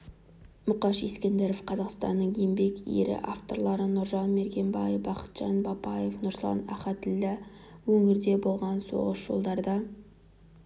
мұқаш ескендіров қазақстанның еңбек ері авторлары нұржан мергенбай бақытжан бапаев руслан ахатіллә өңірде боран соғып жолдарда